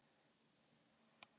Vélin malaði eins og nýbökuð.